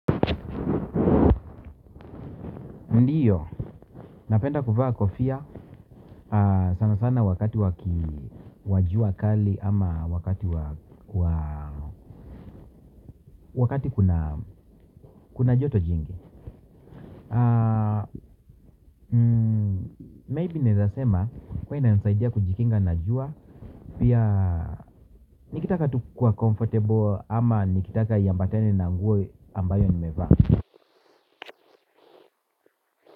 Ndiyo, napenda kuvaa kofia sana sana wakati waki wajua kali ama wakati wakati kuna joto jingi Maybe nawezasema huwa ina nisaidia kujikinga na jua pia nikitaka tu kuwa comfortable ama nikitaka iambatene na nguo ambayo nimevaa.